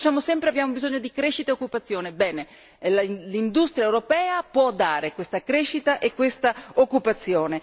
Noi diciamo sempre abbiamo bisogno di crescita e occupazione, bene l'industria europea può dare questa crescita e questa occupazione.